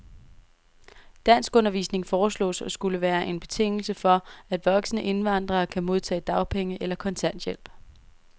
Danskundervisning foreslås at skulle være en betingelse for, at voksne indvandrere kan modtage dagpenge eller kontanthjælp.